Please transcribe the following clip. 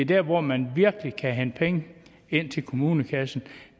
der hvor man virkelig kan hente penge ind til kommunekassen